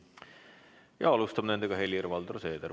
Nendega alustab Helir-Valdor Seeder.